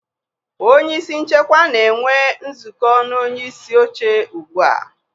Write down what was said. Onye isi nchekwa na-enwe nzukọ na onyeisi oche ugbu a